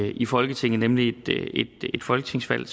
i folketinget nemlig at folketingsvalg